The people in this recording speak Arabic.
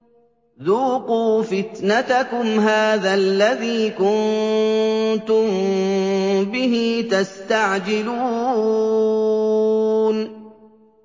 ذُوقُوا فِتْنَتَكُمْ هَٰذَا الَّذِي كُنتُم بِهِ تَسْتَعْجِلُونَ